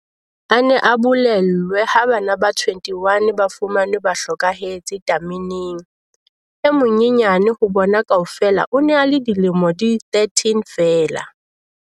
A ne a bolellwe ha bana ba 21 ba fumanwe ba hlokahetse tameneng. E monyane ho bona kaofela o ne a le dilemo di 13 feela.